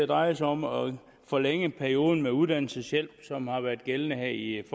drejer sig om at forlænge perioden med uddannelseshjælp som har været gældende her i